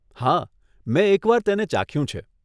હા, મેં એક વાર તેને ચાખ્યું છે.